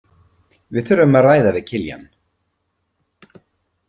Við þurfum að ræða við Kiljan.